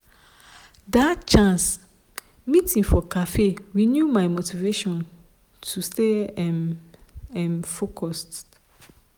that chance meeting for café renew my motivation to stay um um focused.